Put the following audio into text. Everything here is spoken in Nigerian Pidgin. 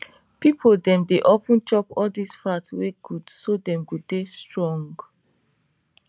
people dem dey of ten chop all this fat wen good so dem go dey strong